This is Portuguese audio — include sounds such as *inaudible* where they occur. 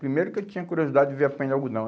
Primeiro que eu tinha curiosidade de ver *unintelligible* de algodão.